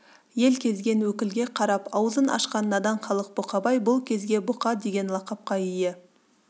ел кезген өкілге қарап аузын ашқан надан халық бұқабай бұл кезде бұқа деген лақапқа ие